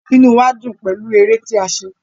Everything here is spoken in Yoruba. Inú wa dùn pẹlú èrè tí a ṣe.